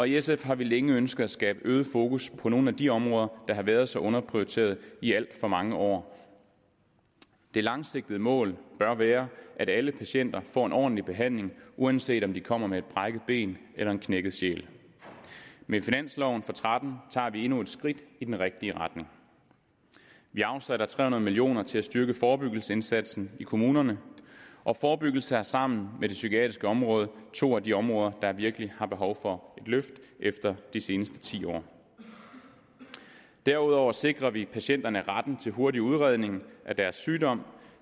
i sf har vi længe ønsket at skabe øget fokus på nogle af de områder der har været så underprioriteret i alt for mange år det langsigtede mål bør være at alle patienter får en ordentlig behandling uanset om de kommer med et brækket ben eller en knækket sjæl med finansloven for tretten tager vi endnu et skridt i den rigtige retning vi afsætter tre hundrede million kroner til at styrke forebyggelsesindsatsen i kommunerne og forebyggelse er sammen med det psykiatriske område to af de områder der virkelig har behov for et løft efter de seneste ti år derudover sikrer vi patienterne retten til hurtig udredning af deres sygdom